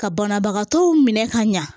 Ka banabagatɔw minɛ ka ɲa